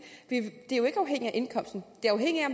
er jo ikke afhængigt af indkomsten